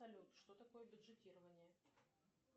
салют что такое бюджетирование